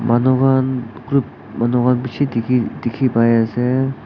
Manu khan group manu khan bishi dikhi dikhipaiase.